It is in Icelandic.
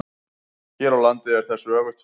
Hér á landi er þessu öfugt farið.